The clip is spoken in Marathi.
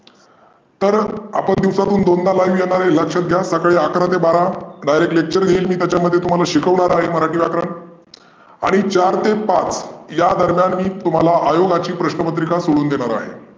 तर आपण दिवसातून दोनदा live येणार आहे लक्षात घ्या. सकाळी अकरा ते बारा direct lecture घेईल त्याच्यामध्ये मी तुम्हाला शिकवणार आहे मराठी व्याकरण. आणि चार ते पाच या दरम्यान मी तुम्हाला आयोगाची प्रश्न पत्रिका सोडवून देणार आहे.